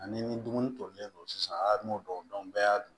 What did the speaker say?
Ani ni dumuni tolilen don sisan a n'o dɔn bɛɛ y'a dun